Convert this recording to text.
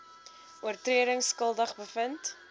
oortredings skuldig bevind